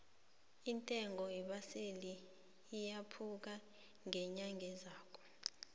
intengo yeembaseli iyakhupuka ngenyanga ezako